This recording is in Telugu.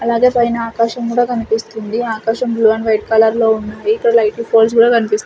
అలాగే పైన ఆకాశం కూడా కన్పిస్తుంది ఆకాశం బ్లూ అండ్ వైట్ కలర్ లో ఉన్నాయి లైటింగ్ పోల్స్ కనిపిస్--